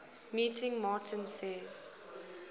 meeting martin says